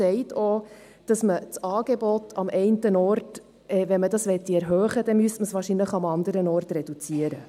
Sie sagt auch, wenn man das Angebot am einen Ort erhöhen wolle, müsse man es wahrscheinlich am anderen reduzieren.